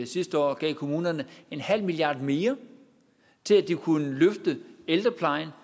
sidste år gav kommunerne en halv milliard mere til at de kunne løfte ældreplejen